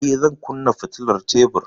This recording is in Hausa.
Eh, zan kunna fitilar tebur.